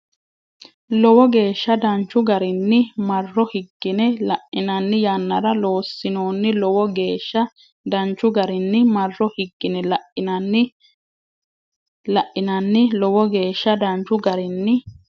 Lowo geeshsha danchu garinni Marro higgine lainanni yannara loossinoonni Lowo geeshsha danchu garinni Marro higgine lainanni Lowo geeshsha danchu garinni.